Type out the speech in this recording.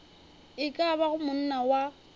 e ka bago monna wa